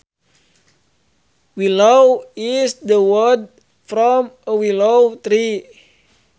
Willow is the wood from a willow tree